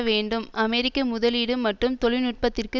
வேண்டும் அமெரிக்க முதலீடு மற்றும் தொழில்நுட்பத்திற்கு